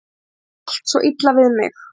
Það á allt svo illa við mig.